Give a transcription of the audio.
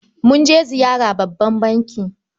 Mun je ziyara babban banki.